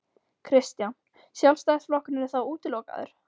Kristján: Sjálfstæðisflokkurinn er þá útilokaður?